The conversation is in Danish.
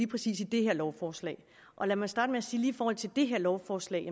præcis i det her lovforslag lad mig starte med at sige forhold til det her lovforslag